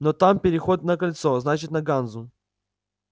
но там переход на кольцо значит на ганзу